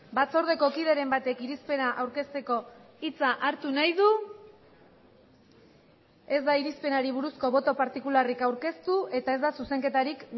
batzordeko kideren batek irizpena aurkezteko hitza hartu nahi du ez da irizpenari buruzko boto partikularrik aurkeztu eta ez da zuzenketarik